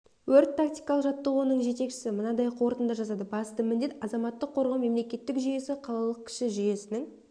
өрт-тактикалық жаттығуының жетекшісі мынадай қорытынды жасады басты міндет азаматтық қорғау мемлекеттік жүйесі қалалық кіші жүйесінің